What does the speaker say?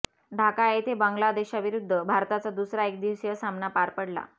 ढाका येथे बांगलादेशविरुद्ध भारताचा दुसरा एकदिवसीय सामना पार पडला